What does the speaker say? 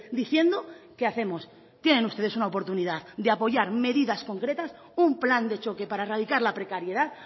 diciendo que hacemos tienen ustedes una oportunidad de apoyar medidas concretas un plan de choque para erradicar la precariedad